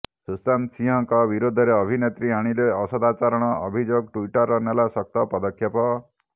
ଶୁଶାନ୍ତ ସିଂହଙ୍କ ବିରୋଧରେ ଅଭିନେତ୍ରୀ ଆଣିଲେ ଅସଦାଚରଣ ଅଭିଯୋଗ ଟ୍ବିଟର୍ ନେଲା ଶକ୍ତ ପଦକ୍ଷେପ